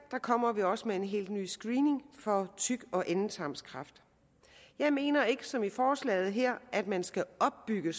kommer vi også med en helt ny screening for tyk og endetarmskræft jeg mener ikke som i forslaget her at man skal opbygge